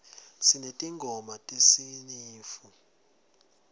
sinetingoma tesinifu